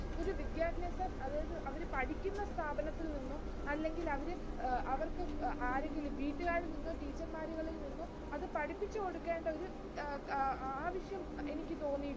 വിദ്യാഭ്യാസം അതായത് അവർ പഠിക്കുന്ന സ്ഥാപനത്തിൽ നിന്നും, അല്ലെങ്കിൽ അവര് അഹ് അവർക്ക് ആരെങ്കിലും വീട്ടുകാരിൽ നിന്നോ, teacher മാരിൽ നിന്നോ അതു പഠിപ്പിച്ചു കൊടുക്കേണ്ട ഒരു അഹ് ആവശ്യം എനിക്ക് തോന്നി.